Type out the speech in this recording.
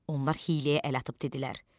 Onlar hiyləyə əl atıb dedilər: